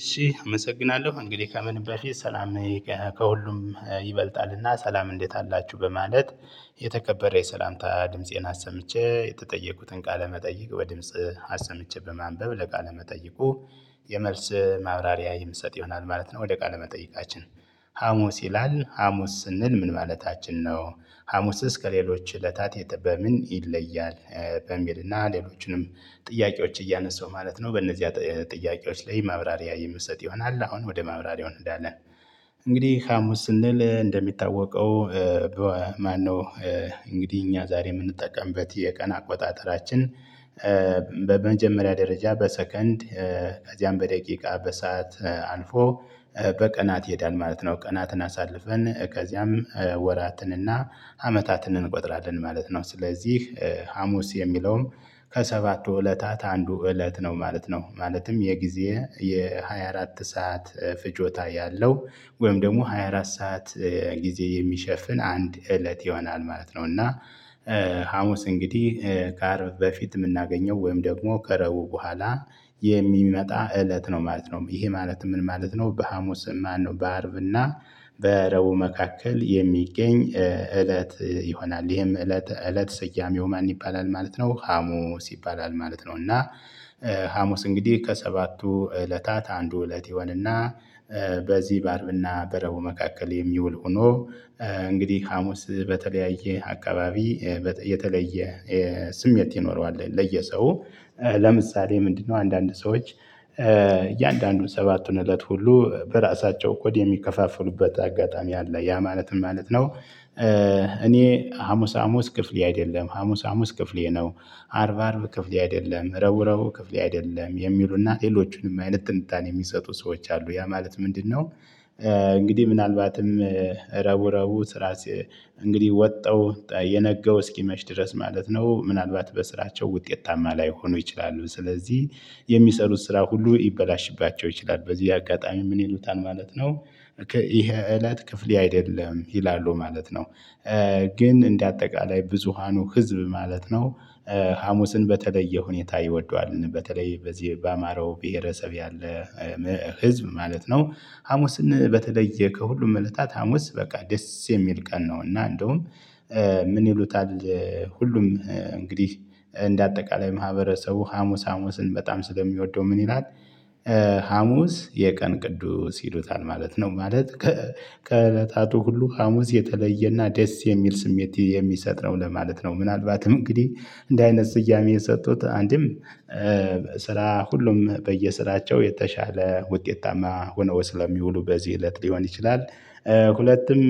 እሺ አመሰግናለሁ እንግዲህ ከምንበል ሰላም ከሁሉም ይበልጣልና ሰላም እንዴት አላችሁ በማለት። የተከበረ የሰላምታ ድምፄን አሰምቼ የተጠየቁትን ቃለ መጠይቅ ወይ ድምጽ አሰምቼ በማንበብ ለቃለ መጠይቁ የመልስ ማብራሪያ የምትሰጥ ይሆናል ማለት ነው። ወደ ቃለ መጠይቃችን ሀሙስ ይላል ሀሙስ ስንል ምን ማለታችን ነው? ሀሙስስ ከሌሎች እለታት የት በምን ይለያል? በሚልና ሌሎችንም ጥያቄዎች እያነሳው ማለት ነው። በእነዚህ ጥያቄዎች ላይ ማብራሪያ የሚሰጥ ይሆናል አሁን ወደ ማብራሪያው እንሄዳለን። እንግዲህ ሀሙስ ስንል እንደሚታወቀው። ማንነው? እንግዲህ እኛ ዛሬ የምንጠቀምበት የቀን አቆጣጠራችን በመጀመሪያ ደረጃ በሰከንድ ከዚያም በደቂቃ በሰአት አልፎ በቀናት ይሄዳል ማለት ነው። ቀናትን አሳልፈን ከዚያም ወራትንና አመታትን እንቆጥራለን ማለት ነው። ስለዚህ ሀሙስ የሚለውም ከሰባቱ እለታት አንዱ እለት ነው ማለት ነው። ማለትም የጊዜ የሃያ አራት ሰዓት ፍጆታ ያለው ወይም ደግሞ 24 ሰዓት ጊዜ የሚሸፍን አንድ እለት ይሆናል ማለት ነው። እና። ሀሙስ እንግዲህ ከአርብ በፊት የምናገኘው ወይም ደግሞ ከረቡ በኋላ የሚመጣ እለት ነው ማለት ነው። ይሄ ማለት ምን ማለት ነው? በሀሙስ ማነው በአርብና በረቡ መካከል የሚገኝ እለት ይሆናል። ይሄም እለት እለት ስያሜው ማን ይባላል? ማለት ነው ሀሙስ ይባላል ማለት ነው። እና። ሀሙስ እንግዲህ ከሰባቱ እለታት አንዱ እለት ይሆንና። በዚህ በአርብና በረቡዕ መካከል የሚውል ሆኖ። እንግዲህ ሀሙስ በተለያየ አካባቢ የተለየ ስሜት ይኖረዋል። ለየሰው ለምሳሌ ምንድነው? አንዳንድ ሰዎች እያንዳንዱን ሰባቱን እለት ሁሉ በራሳቸው ኮድ የሚከፋፍሉበት አጋጣሚ አለ። ያ ማለት ማለት ነው። እኔ ሀሙስ ሀሙስ ክፍሌ አይደለም ሀሙስ ሀሙስ ክፍሌ ነው። አርብ አርብ ክፍሌ አይደለም ረቡዕ ረቡዕ ክፍሌ አይደለም የሚሉና ሌሎቹንም አይነት ጥንታኔ የሚሰጡ ሰዎች አሉ። ያ ማለት ምንድነው? እንግዲህ ምናልባትም ረቡዕ ረቡዕ ስራ እንግዲህ ወጣው የነገው እስኪመች ድረስ ማለት ነው። ምናልባት በስራቸው ውጤታማ ላይሆኑ ይችላሉ። ስለዚህ የሚሰሩት ስራ ሁሉ ይበላሽባቸው ይችላል በዚህ አጋጣሚ ምን ይሉታል ማለት ነው? ይሄ እለት ክፍሌ አይደለም ይላሉ ማለት ነው። ግን እንደ አጠቃላይ ብዙሃኑ ህዝብ ማለት ነው። ሀሙስን በተለየ ሁኔታ ይወደዋል በተለይ በዚህ ባማረው ብሄረሰብ ያለ ህዝብ ማለት ነው። ሀሙስን በተለየ ከሁሉም እለታት ሀሙስ በቃ ደስ የሚል ቀን ነው። እና እንደውም ምን ይሉታል? ሁሉም እንግዲህ እንደ አጠቃላይ ማህበረሰቡ ሀሙስ ሀሙስን በጣም ስለሚወደው ምን ይላል? ሀሙስ የቀን ቅዱስ ይሉታል ማለት ነው። ማለት ከእለታቱ ሁሉ ሀሙስ የተለየና ደስ የሚል ስሜት የሚሰጥ ነው ለማለት ነው። ምናልባትም እንግዲህ እንድ አይነት ስያሜ የሰጡት አንድም ስራ ሁሉም በየስራቸው የተሻለ ውጤታማ ሆነው ስለሚውሉ በዚህ እለት ሊሆን ይችላል። ሁለቱም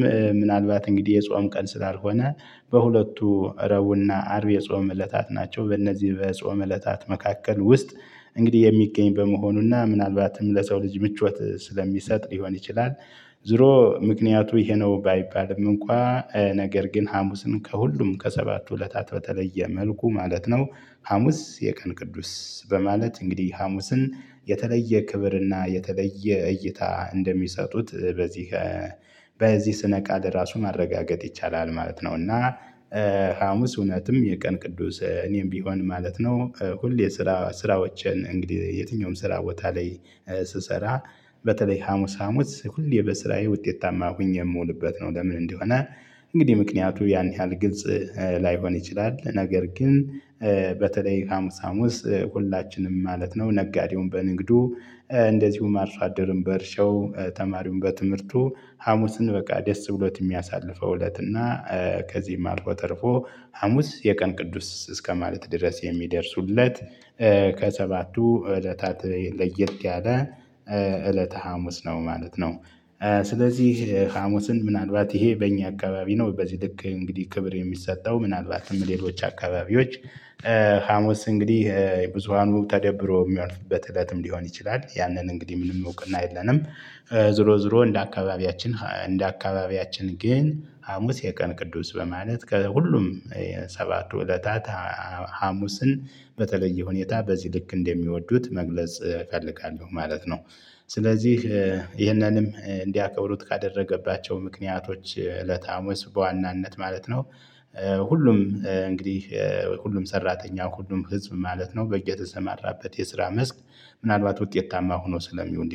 ምናልባት እንግዲህ የጾም ቀን ስላልሆነ በሁለቱ ረቡዕና አርብ የጾም እለታት ናቸው በእነዚህ በጾም እለታት መካከል ውስጥ እንግዲህ የሚገኝ በመሆኑና ምናልባትም ለሰው ልጅ ምቾት ስለሚሰጥ ሊሆን ይችላል። ዞሮ ምክንያቱ ይሄ ነው ባይባልም እንኳን ነገር ግን ሀሙስን ከሁሉም ከሰባቱ ሁለታት በተለየ መልኩ ማለት ነው። ሀሙስ የቀን ቅዱስ በማለት እንግዲህ ሐሙስን የተለየ ክብርና የተለየ እይታ እንደሚሰጡት በዚህ በዚህ ስነ ቃል ራሱን ማረጋገጥ ይቻላል ማለት ነው። እና ሀሙስ እውነትም የቀን ቅዱስ እኔም ቢሆን ማለት ነው። ሁሌ የስራ ስራዎችን እንግዲህ የትኛውም ስራ ቦታ ላይ ስሰራ በተለይ ሀሙስ ሀሙስ ሁሌ በስራዬ ውጤታማ ሁኜ የምውልበት ነው። ለምን እንደሆነ? እንግዲህ ምክንያቱ ያን ያህል ግልጽ ላይሆን ይችላል። ነገር ግን። ሀሙስ ሀሙስ ሁላችንም ማለት ነው። ነጋዴውን በንግዱ እንደዚሁም አርሶ አደርም በእርሻው ተማሪውን በትምህርቱ ሀሙስን በቃ ደስ ብሎት የሚያሳልፈው እለትና ከዚህም አልቆ ተርፎ ሀሙስ የቀን ቅዱስ እስከማለት ድረስ የሚደርሱለት ከሰባቱ እለታት ለየት ያለ እለተ ሀሙስ ነው ማለት ነው። ስለዚህ ሀሙስን ምናልባት ይሄ በእኛ አካባቢ ነው በዚህ ልክ እንግዲህ ክብር የሚሰጠው ምናልባትም ሌሎች አካባቢዎች ሀሙስ እንግዲህ የብዙሃኑ ተደብሮ የሚሆንበት እለትም ሊሆን ይችላል ያንን እንግዲህ ምንም እውቅና የለንም። ዙሮ ዙሮ እንደ አካባቢያችን እንደ አካባቢያችን ግን ሀሙስ የቀን ቅዱስ በማለት ከሁሉም ሰባቱ እለታት ሀሙስን በተለየ ሁኔታ በዚህ ልክ እንደሚወዱት መግለጽ እፈልጋለሁ ማለት ነው። ስለዚህ ይህንንም እንዲያከብሩት ካደረገባቸው ምክንያቶች እለታ ሀሙስ በዋናነት ማለት ነው። ሁሉም እንግዲህ ሁሉም ሰራተኛው ሁሉም ህዝብ ማለት ነው በየተሰማራበት የስራ መስክ ምናልባት ውጤታማ ሆኖ ስለሚሆን